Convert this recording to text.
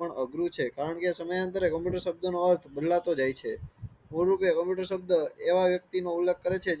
અઘરું છે, કારણ કે સમયાંતરે કમ્પ્યુટર સબધ નો અર્થ બદલાતો જાય છે મૂળ રૂપે કમ્પ્યુટર સબધ એવા વાકયતી નો ઉલ્લેખ કરે છે